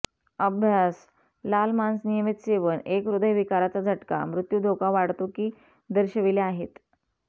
अभ्यास लाल मांस नियमित सेवन एक हृदयविकाराचा झटका मृत्यू धोका वाढतो की दर्शविले आहेत